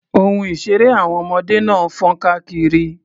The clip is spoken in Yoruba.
Ohun-ìṣeré àwọn ọmọdé náà fọ́nka kiri.